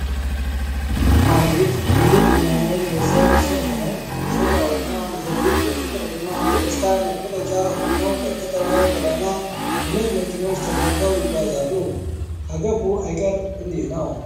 አቤት! እንዴት የሚያምር የሰርግ ሰልፍ ነው! ሙሽራውና ሙሽሪት የፍቅርና የደስታ መገለጫ ሆነው በከተማው ጎዳና በነጭ መኪኖች ተከበው ይጓዛሉ! ካገቡ አይቀር እንዲህ ነው።